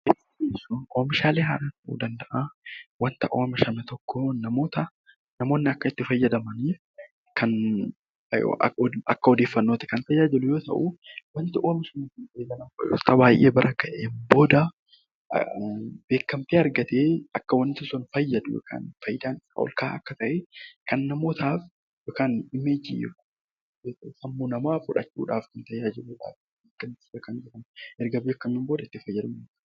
Beeksisa jechuun oomishaalee oomishaman tokko akka itti tajaajilamnuuf kan beeksisuun walqabatuu fi namoonni akka odeeffannoo isaa argataniif kan tajaajiluudha.